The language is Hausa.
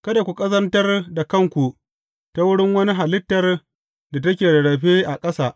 Kada ku ƙazantar da kanku ta wurin wani halittar da take rarrafe a ƙasa.